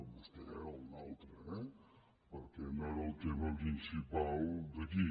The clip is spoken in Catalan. vostè o un altre eh perquè no era el tema principal d’aquí